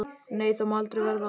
Nei, það má aldrei verða.